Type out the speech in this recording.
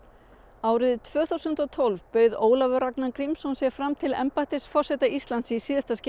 árið tvö þúsund og tólf bauð Ólafur Ragnar Grímsson sig fram til embættis forseta Íslands í síðasta